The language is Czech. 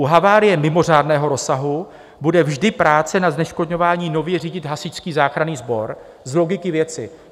U havárie mimořádného rozsahu bude vždy práce na zneškodňování nově řídit Hasičský záchranný sbor - z logiky věci.